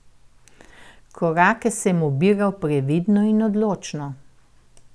Korake sem ubiral previdno in odločno.